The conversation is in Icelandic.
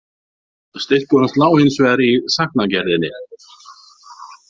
Styrkur hans lá hins vegar í sagnagerðinni.